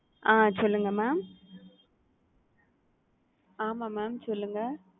அ சொல்லுங்க mam ஆமாம் mam சொல்லுங்க.